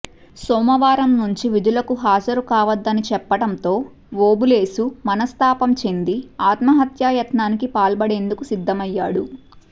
సోమవారం నుంచి విధులకు హాజరు కావద్దని చెప్పడంతో ఓబులేశు మనస్తాపం చెంది ఆత్మహత్యాయత్నానికి పాల్పడేందుకు సిద్దమయ్యాడు